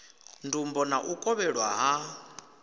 ndumbo na u kovhelwa ha